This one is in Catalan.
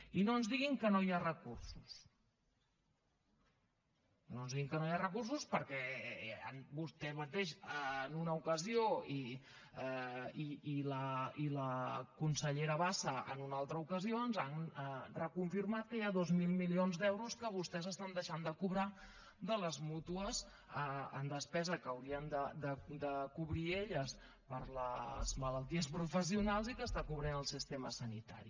i no ens diguin que no hi ha recursos no ens diguin que no hi ha recursos perquè vostè mateix en una ocasió i la consellera bassa en una altra ocasió ens han reconfirmat que hi ha dos mil milions d’euros que vostès deixen de cobrar de les mútues en despesa que haurien de cobrir elles per les malalties professionals i que està cobrint el sistema sanitari